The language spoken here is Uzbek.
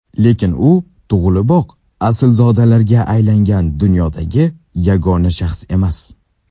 Lekin u tug‘iliboq aslzodaga aylangan dunyodagi yagona shaxs emas.